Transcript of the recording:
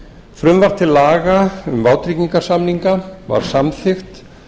frumvarp til laga um vátryggingarsamninga var samþykkt